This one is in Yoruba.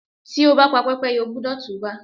Tí o bá pa Pẹ́pẹ́yẹ, o gbúdọ̀ tú bá.